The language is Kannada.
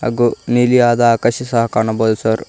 ಗೊ ನೀಲಿಯಾದ ಆಕಾಶ ಸಹ ಕಾಣಬೋದು ಸರ್.